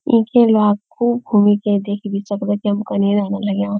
इके इलाकू खूब घुमिके देख भी सकदा की हम कने रेन लग्याँ।